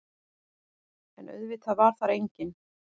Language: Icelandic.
En auðvitað var þar enginn.